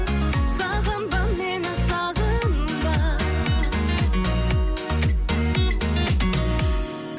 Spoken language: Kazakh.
сағынба мені сағынба